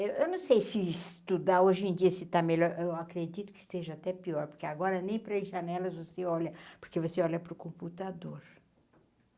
Eu eu não sei se estudar hoje em dia se está melhor, eu acredito que esteja até pior, porque agora nem para as janelas você olha, porque você olha para o computador.